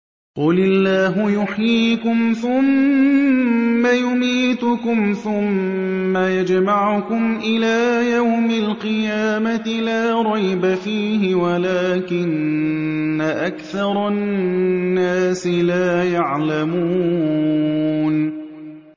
قُلِ اللَّهُ يُحْيِيكُمْ ثُمَّ يُمِيتُكُمْ ثُمَّ يَجْمَعُكُمْ إِلَىٰ يَوْمِ الْقِيَامَةِ لَا رَيْبَ فِيهِ وَلَٰكِنَّ أَكْثَرَ النَّاسِ لَا يَعْلَمُونَ